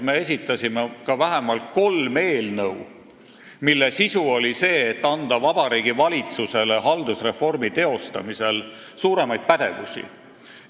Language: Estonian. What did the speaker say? Me esitasime ka vähemalt kolm eelnõu, mille sisu oli ettepanek anda Vabariigi Valitsusele haldusreformi teostamisel enam pädevust.